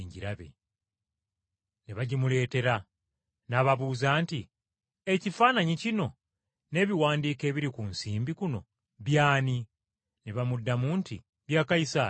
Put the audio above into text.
Ne bagimuleetera, n’ababuuza nti, “Ekifaananyi kino n’ebiwandiiko ebiri ku nsimbi kuno by’ani?” Ne bamuddamu nti, “Bya Kayisaali.”